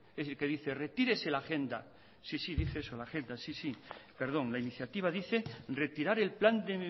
que dice retírese la agenda sí sí dice eso la agenda perdón la iniciativa dice retirar el plan de